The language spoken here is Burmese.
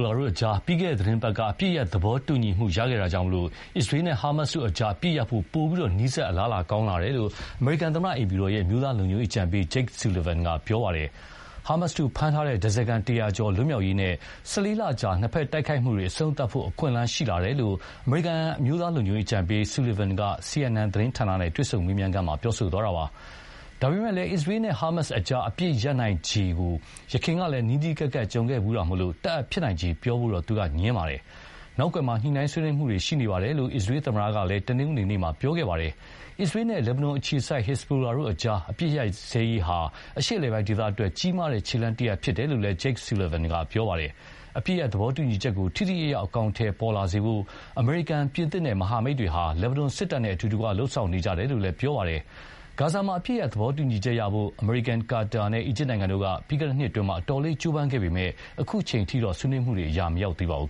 လာအကြား ပြီးခဲ့တဲ့သီတင်းပတ်က အပစ်ရပ်သဘောတူညီမှုရခဲ့တာကြောင့်၊ အစ္စရေးနဲ့ ဟာမတ်စ်တို့အကြား အပစ်ရပ်ဖို့ ပိုပြီး အလားအလာကောင်းလာတယ်လို့ အမေရိကန်သမ္မတအိမ်ဖြူတော် အမျိုးသားလုံခြုံရေးအကြံပေး Jake Sullivan က ပြောပါတယ်။ ဟာမတ်စ်တို့ဖမ်းထားတဲ့ ဓါးစားခံ တရာကျော် လွတ်မြောက်ရေးနဲ့ ၁၄လကြာ နှစ်ဖက် တိုက်ခိုက်မှုတွေ အဆုံးသတ်ဖို့ အခွင့်အလမ်းရှိလာတယ်လို့ အမေရိကန်အမျိုးသားလုံခြုံရေးအကြံပေး Sullivan က CNN သတင်းဌာနနဲ့ တွေ့ဆုံမေးမြန်းခန်းမှာပြောသွားတာပါ။ ဒါပေမယ့်လည်း အစ္စရေးန့ ဟာမတ်စ်အကြား အပစ်ရပ်နိုင်ချေဖို့ ယခင်ကလည်း နီးနီးကပ်ကပ်ကြုံခဲ့ဖူးတာမို့၊ တပ်အပ်ဖြစ်နိုင်ခြေ ပြောဖို့တော့ ငြင်းပါတယ်။ နောက်ကွယ်မှာ ညှိုနှိုင်းဆွေးနွေးမှုတွေရှိနေတယ်လို့ အစ္စရေးသမ္မတက လည်း တနင်္ဂနွေနေ့က ပြောခဲ့ပါတယ်။ အစ္စရေးန့ လက်ဘနွမ်အခြေစိုက် ဟက်ဇဘိုလာတို့အကြား အပစ်ရပ်စဲရေးဟာ အရှေ့အလယ်ပို်င်းဒေသအတွက် ကြီးမားတဲ့ခြေလှမ်းတရပ်ဖြစ်တယ်လို့လည်း Jake Sullivan က ပြောပါတယ်။ အပစ်ရပ်သဘောတူညီချက်ကို ထိထိရောက်ရောက်အကောင်အထည်ပေါ်လာစေဖို့ အမေရိကန် ပြင်သစ်နဲ့ မဟာမိတ်တွေဟာ လက်ဘနွမ်စစ်တပ်နဲ့ အတူတကွလုပ်ဆောင်နေကြတယ်လို့လည်း ပြောပါတယ်။ ဂါဇာမှာ အပစ်ရပ်ရေးသဘောတူညီချက်ရဖို့ အမေရိကန် ကာတာနဲ့ အီဂျစ်နိုင်ငံတို့က ပြီးခဲ့တဲ့နှစ်အတွင်း အတော်လေး ကြိုးပမ်းခဲ့ပေမယ့် အခုချိန်အထိတော့ ဆွေးနွေးမှုတွေက အရာမရောက်သေးပါဘူး